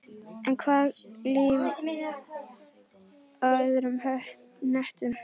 En hvað með líf á öðrum hnöttum?